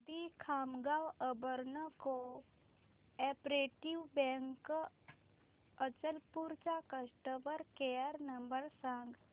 दि Khamgaon urban cooperative bank Achalpur चा customer care number सांग